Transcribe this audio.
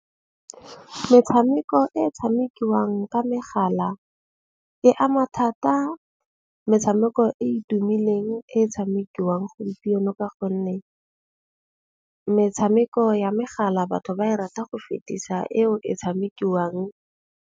Metshameko e tshamekiwang ka megala e ama thata metshameko e e tumileng e tshamekiwang gompieno. Ka gonne metshameko ya megala batho ba e rata go fetisa eo e tshamekiwang.